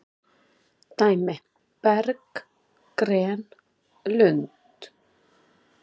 Dæmi:- berg,- gren,- lund.